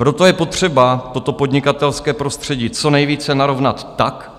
Proto je potřeba toto podnikatelské prostředí co nejvíce narovnat tak,